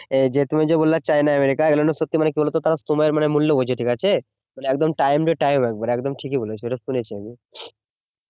যে তুমি যে বললে চায়না আমেরিকা এগুলো সত্যি কি বলতো তাও সময়ের মূল্য বোঝে ঠিক আছে একদম time to time একেবারে একদম ঠিকই বলেছে এটা শুনেছি আমি